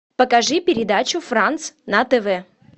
покажи передачу франс на тв